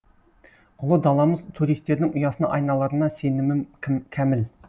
ұлы даламыз туристердің ұясына айналарына сенімім кәміл